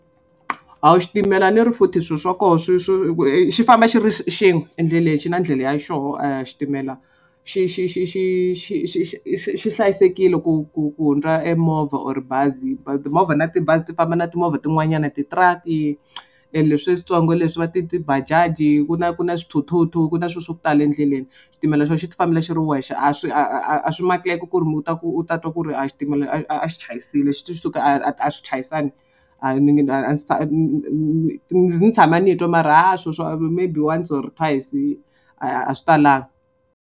A wu xitimela ni ri futhi swilo swa koho swi swi xi famba xi ri xin'we endleni xi na ndlela ya xoho xitimela xi xi xi xi xi xi xi xi xi hlayisekile ku ku ku hundza emovha or bazi timovha na tibazi ti famba na timovha tin'wanyana ti-truck-i leswi switsongo leswi va ti ti-bajaj, ku na ku na swithuthuthu ku na swilo swa ku tala endleleni. Xitimela xo xi ti fambela xi ri wexe a swi a swi makeki ku ri u ta ku u ta twa ku ri a xitimela a a xi chayisile suka a swi chayisana. A ndzi tshame ni twa mara ha swa maybe once or twice a swi talanga.